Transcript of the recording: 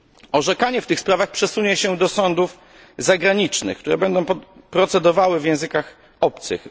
Orzekanie w tych sprawach przesunie się do sądów zagranicznych, które będą prowadziły postępowanie w językach obcych.